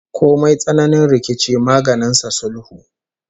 Komai tsananin rikici maganin sa sulhu